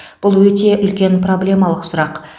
бұл өте үлкен проблемалық сұрақ